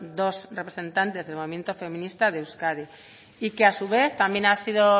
dos representantes del movimiento feminista de euskadi y que a su vez también ha sido